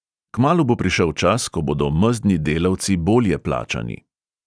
Kmalu bo prišel čas, ko bodo mezdni delavci bolje plačani.